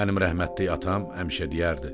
Mənim rəhmətlik atam həmişə deyərdi: